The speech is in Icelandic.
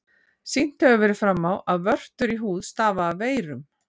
Sýnt hefur verið fram á, að vörtur í húð stafa af veirum.